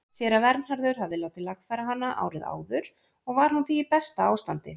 Séra Vernharður hafði látið lagfæra hana árið áður og var hún því í besta ástandi.